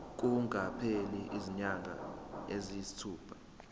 kungakapheli izinyanga eziyisithupha